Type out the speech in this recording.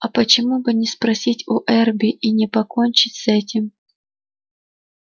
а почему бы не спросить у эрби и не покончить с этим